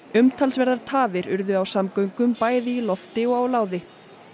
umtalsverðar tafir urðu á samgöngum bæði í lofti og á láði